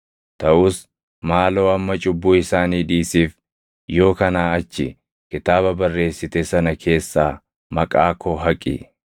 Taʼus maaloo amma cubbuu isaanii dhiisiif; yoo kanaa achi kitaaba barreessite sana keessaa maqaa koo haqi.”